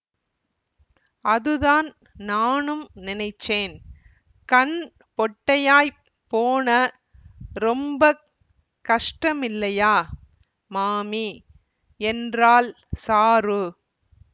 அதுதான் நானும் நெனைச்சேன் கண் பொட்டையாப் போன ரொம்ப கஷ்டமில்லையா மாமி என்றாள் சாரு